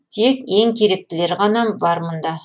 тек ең керектілері ғана бар мұнда